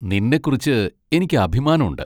നിന്നെക്കുറിച്ച് എനിക്ക് അഭിമാനം ഉണ്ട്.